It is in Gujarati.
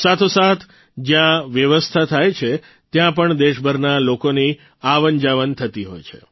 સાથોસાથ જયાં વ્યવસ્થા થાય છે ત્યાં પણ દેશભરના લોકોની આવનજાવન થતી હોય છે